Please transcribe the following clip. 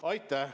Aitäh!